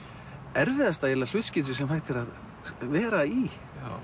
erfiðasta hlutskipti sem hægt er að vera í